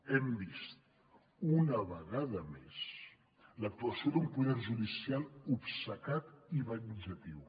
hem vist una vegada més l’actuació d’un poder judicial obcecat i venjatiu